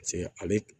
Paseke ale